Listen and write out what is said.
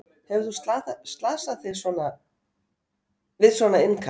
Hefur þú slasað sig við svona innkast?